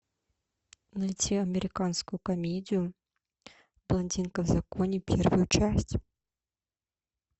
найти американскую комедию блондинка в законе первую часть